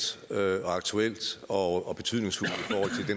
og aktuelt og betydningsfuldt